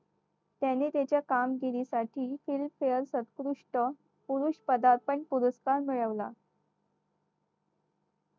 त्याने त्याच्या कामगिरीसाठी पुरुष पदार्पण पुरस्कार मिळवला